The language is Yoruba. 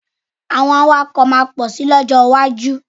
Àwọn awakọ̀ máa pọ̀ sì lọ́jọ́ iwájú.